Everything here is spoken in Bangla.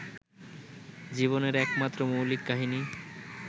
জীবনের একমাত্র মৌলিক কাহিনী